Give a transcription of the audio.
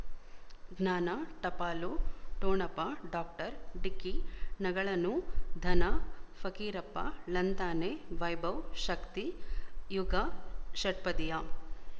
ಜ್ಞಾನ ಟಪಾಲು ಠೊಣಪ ಡಾಕ್ಟರ್ ಢಿಕ್ಕಿ ಣಗಳನು ಧನ ಫಕೀರಪ್ಪ ಳಂತಾನೆ ವೈಭವ್ ಶಕ್ತಿ ಯುಗಾ ಷಟ್ಪದಿಯ